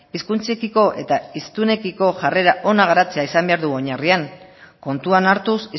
hizkuntzekiko eta hiztunekiko jarrera ona garatzea izan behar du oinarrian kontuan hartuz